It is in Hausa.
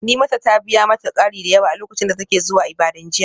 Nimata ta biya mata kari da yawa a lokacin da take zuwa Ibadan jiya.